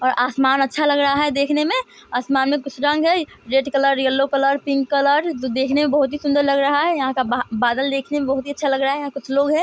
और आसमान अच्छा लग रहा है देखने में आसमान में कुछ रंग है red colour yellow colour pink colour जो देखने में बहुत ही सुन्दर लग रहा है यहाँ का बा बादल देखने में बहुत ही अच्छा लग रहा है यहाँ कुछ लोग है ।